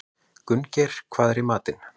Gunngeir, hvað er í matinn?